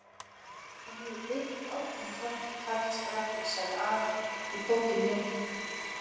Hann hefur kveikt í bátnum, karlskrattinn, sagði afi og tók í nefið.